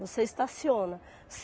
Você estaciona.